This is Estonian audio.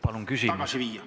Palun küsimus!